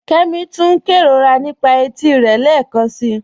Kẹ́mí túń n kẹróra nípa ètí rẹ lẹ́kansi